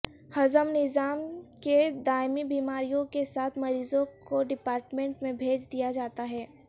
ہضم نظام کے دائمی بیماریوں کے ساتھ مریضوں کو ڈیپارٹمنٹ میں بھیج دیا جاتا ہے